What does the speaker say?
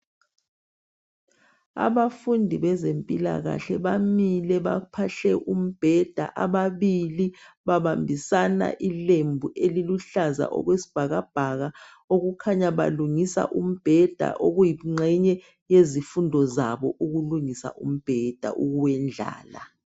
Abafundi bezempilakahle bamile baphahle umbheda. Ababili babambisana ilembu eliluhlaza okwesibhakabhaka. Okukhanya balungisa umbheda. Okuyingxenye yezifundo zabo ukulungisa umbheda ukuwendlala.